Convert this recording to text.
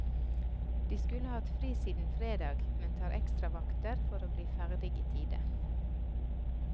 De skulle hatt fri siden fredag, men tar ekstravakter for å bli ferdig i tide.